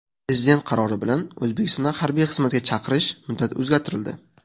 Prezident qarori bilan O‘zbekistonda harbiy xizmatga chaqirish muddati o‘zgartirildi.